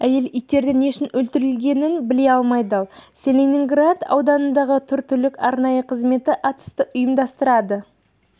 әйел иттердің не үшін өлтірілгенін біле алмай дал целиноград ауданындағы тұр түлік арнайы қызметі атысты ұйымдастырады